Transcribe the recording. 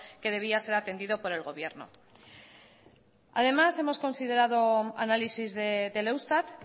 que debía ser atendido por el gobierno además hemos considerado análisis del eustat